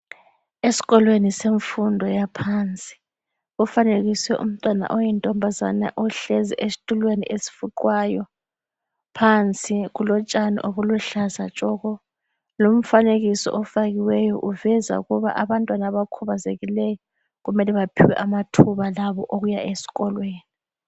Eskolweni semfundo yaphansi kufanekiswe umntwana oyintombazana ohlezi estulweni esfuqwayo, phansi kulotshani obuluhlaza tshoko lumfanekiso ofakiweyo uveza ukuba abantwana abakhubazekileyo kumele baphiwe amathuba labo okuya esikolweni